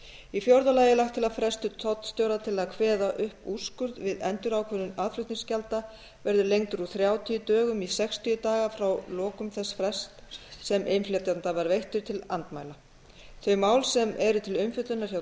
í fjórða lagi er lagt til að frestur tollstjóra til þess að kveða upp úrskurð við endurákvörðun aðflutningsgjalda verði lengdur úr þrjátíu dögum í sextíu daga frá lokum þess frests sem innflytjanda var veittur til andmæla þau mál sem eru til umfjöllunar hjá